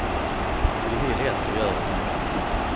Vi vill ett och gör ett annat.